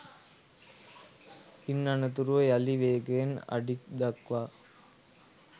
ඉන් අනතුරුව යළි වේගයෙන් අඩි ක් දක්වා